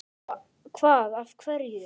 Hvað af hverju?